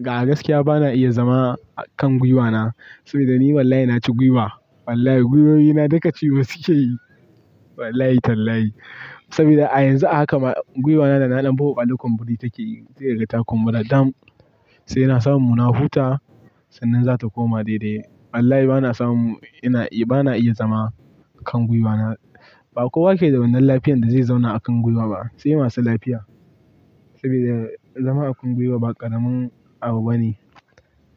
Ga gaskiya bana iya zama a kan gwiwana. Saboda ni wallahi naci gwiwa. Wallahi, gwiwoyina duka cinye su ke yi. Wallahi Tallahi. Saboda a yanzu haka ma gwiwana da nadan buhu a ɗakon biri take yi, sai daga ta kuma da dam. Sai na samu na huta sannan zata koma daidai. Wallahi bana samu, ina, bana iya zama a kan gwiwana. Ba kowa yake da wannan lafiyar da zai zauna a kan gwiwa ba. Sai masu lafiya. Saboda zama a kan gwiwa ba ƙaramin abu bane.